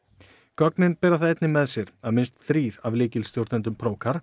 gögnin bera það einnig með sér að minnst þrír af lykilstjórnendum